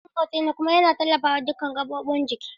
Ƙafafun motsi ne kuma yana tallafawa dukan jiki.